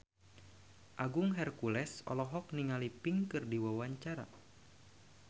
Agung Hercules olohok ningali Pink keur diwawancara